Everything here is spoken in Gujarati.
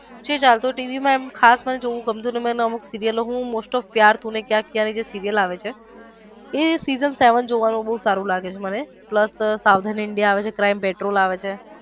ટીવી મા આમ કાઈ ખાસ જોવું નઈ ગમતું નથી મને અમુક સીરીયલો હું most of प्यार तूने क्या किया ની જે સીરીયલ આવે છે એની જે session seven જોવાનું બોવ સારું લાગે છે મને પ્લસ સાવધાન ઈન્ડાઈ આવે છે crime petrol આવે છે.